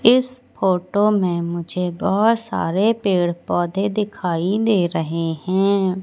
इस फोटो में मुझे बहोत सारे पेड़ पौधे दिखाई दे रहे हैं।